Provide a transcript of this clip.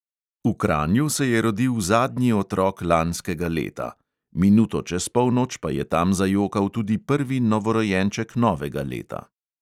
V kranju se je rodil zadnji otrok lanskega leta, minuto čez polnoč pa je tam zajokal tudi prvi novorojenček novega leta.